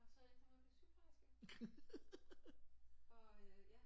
Og så er jeg kommet på sygeplejerske og ja